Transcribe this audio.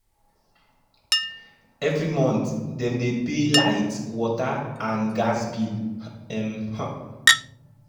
every month dem dey pay light water and gas bill. um